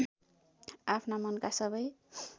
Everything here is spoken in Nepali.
आफ्ना मनका सबै